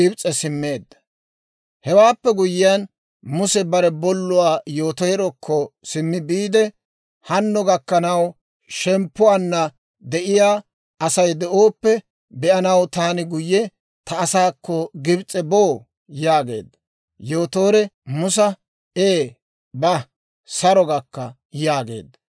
Hewaappe guyyiyaan Muse bare bolluwaa Yotoorekko simmi biide, «Hanno gakkanaw shemppuwaanna de'iyaa Asay de'ooppe be'anaw, taani guyye ta asaakko Gibs'e boo?» yaageedda. Yootoore Musa, «Ee ba; saro gakka» yaageedda.